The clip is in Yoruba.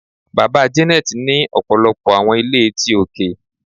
Baba Janet ni ọpọlọpọ awọn ile ti oke